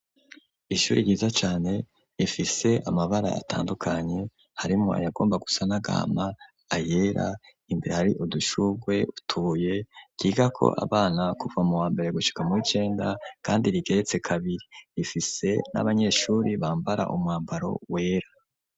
Ishuri ryiza cane rifise amabara atandukanye harimwo ayagomba gusa n'agahama, ayera imbere hari udushugwe n' utubuye ryigako abana kuva mu wa mbere gushika muw'icenda kandi rigeretse kabiri rifise n'abanyeshuri bambara umwambaro wera.